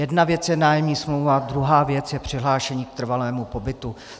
Jedna věc je nájemní smlouva a druhá věc je přihlášení k trvalému pobytu.